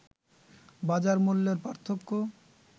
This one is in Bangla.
বাজার মূল্যের পার্থক্য